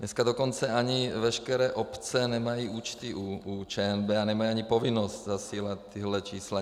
Dnes dokonce ani veškeré obce nemají účty u ČNB a nemají ani povinnost zasílat tato čísla.